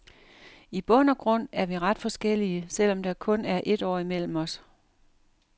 I bund og grund er vi ret forskellige, selv om der kun er et år imellem os.